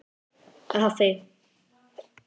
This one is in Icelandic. Afi!